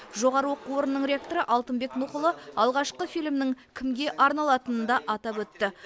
жоғары оқу орнының ректоры алтынбек нұхұлы алғашқы фильмнің кімге арналатынын да атап өтті